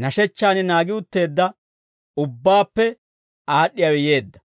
nashechchaan naagi utteedda ubbaappe aad'd'iyaawe yeedda.